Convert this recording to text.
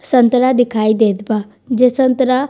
संतरा दिखाई देत बा जे संतरा।